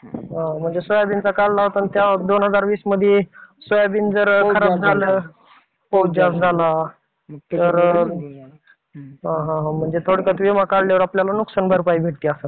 म्हणजे सोयाबीन तर काढला होता तेव्हा दोन हजार वीस मध्ये सोयाबीन जर खराब झालं, पाऊस जास्त झाला तर. हा हा. म्हणजे थोडक्यात विमा काढल्यावर आपल्याला नुकसान भरपाई भेटती असं.